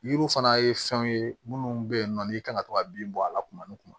Yiriw fana ye fɛnw ye minnu bɛ yen nɔ n'i kan ka to ka bin bɔ a la kuma ni kuma